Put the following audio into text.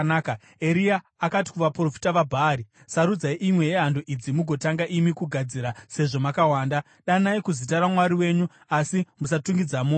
Eria akati kuvaprofita vaBhaari, “Sarudzai imwe yehando idzi mugotanga imi kuigadzira, sezvo makawanda. Danai kuzita ramwari wenyu, asi musatungidza moto.”